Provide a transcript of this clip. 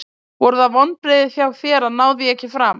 Voru það vonbrigði hjá þér að ná því ekki fram?